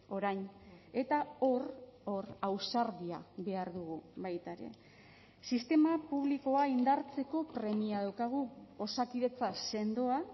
orain eta hor hor ausardia behar dugu baita ere sistema publikoa indartzeko premia daukagu osakidetza sendoa